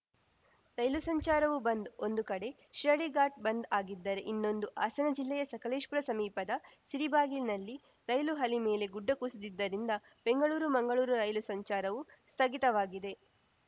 ರೈಲು ಸಂಚಾರವೂ ಬಂದ್‌ ಒಂದು ಕಡೆ ಶಿರಾಡಿಘಾಟ್‌ ಬಂದ್‌ ಆಗಿದ್ದರೆ ಇನ್ನೊಂದು ಹಾಸನ ಜಿಲ್ಲೆಯ ಸಕಲೇಶಪುರ ಸಮೀಪದ ಸಿರಿಬಾಗಿಲಿನಲ್ಲಿ ರೈಲು ಹಳಿ ಮೇಲೆ ಗುಡ್ಡ ಕುಸಿದಿದ್ದರಿಂದ ಬೆಂಗಳೂರುಮಂಗಳೂರು ರೈಲು ಸಂಚಾರವೂ ಸ್ಥಗಿತವಾಗಿದೆ